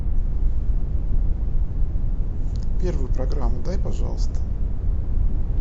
первую программу дай пожалуйста